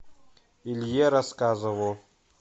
илье рассказову